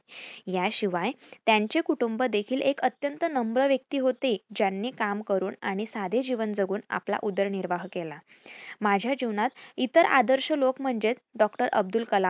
याशिवाय त्यांचे कुटूंब देखिल एक अत्यंत नम्र व्यक्ती होते. ज्यांनी काम करून आणि साधे जीवन जगून आपला उदर निर्वाह केला. माझ्या जीवनात इतर आदर्श लोक म्हणजेच डॉ. अब्दुल कलाम